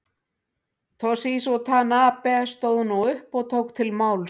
Toshizo Tanabe stóð nú upp og tók til máls.